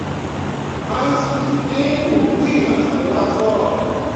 man city dín dundú ìyá fún watford